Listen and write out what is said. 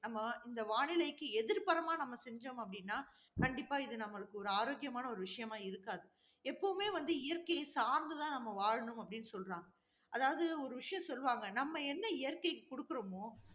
நம்ம இந்த வானிலைக்கு எதிர்ப்புறமாக நம்ம செஞ்சோம்னு அப்படின்னா, கண்டிப்பா இது நம்மளுக்கு ஒரு ஆரோக்கியமான ஒரு விஷயமாக இருக்காது. எப்பவுமே வந்து இயற்கையை சார்ந்து தான் நம்ம வாழணும் அப்படின்னு சொல்றாங்க. அதாவது ஒரு விஷயம் சொல்லுவாங்க, நம்ம என்ன இயற்கைக்கு கொடுக்கிறோமோ,